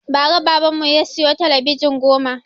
Ba ra baban mu ya siyo talabijin goma